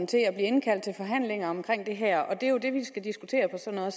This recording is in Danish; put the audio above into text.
til at blive indkaldt til forhandlinger om det her og det er jo det vi skal diskutere på sådan